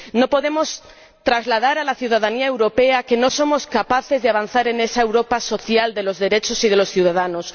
No podemos trasladar a la ciudadanía europea que no somos capaces de avanzar en esa Europa social de los derechos y de los ciudadanos.